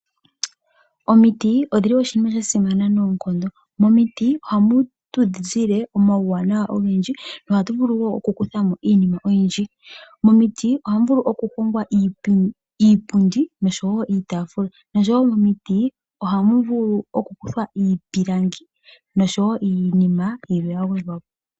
Omiti odhili oshinima shasimana noonkondo, momiti ohamu tu zile omawuwanawa ogendji, ohatu vulu wo okukuthamo iinima oyindji. Momiti ohamu vulu okuhongwa iipundi nosho wo iitaafula, osho wo momiti ohamu vulu okukuthwa iipilangi nosho wo iinima yilwe yagwedhwa po.